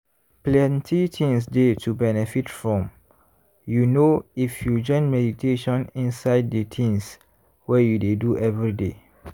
plenty things dey to benefit from you know if you join meditation inside de tins wey you dey do everyday.